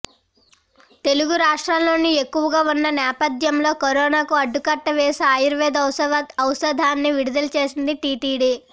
తెలుగు రాష్ట్రాల్లోనూ ఎక్కువగా ఉన్న నేపథ్యంలో కరోనా కు అడ్డుకట్ట వేసే ఆయుర్వేద ఔషధాన్ని విడుదల చేసింది టీటీడీ